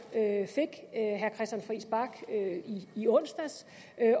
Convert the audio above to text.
fik herre christian friis bach i onsdags